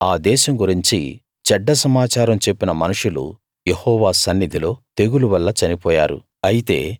అంటే ఆ దేశం గురించి చెడ్డ సమాచారం చెప్పిన మనుషులు యెహోవా సన్నిధిలో తెగులు వల్ల చనిపోయారు